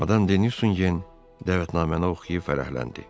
Madam Deni Nusin gen dəvətnaməni oxuyub fərəhləndi.